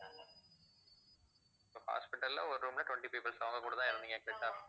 so hospital ல ஒரு room ல twenty peoples அவங்ககூட தான் இருந்திங்க correct ஆ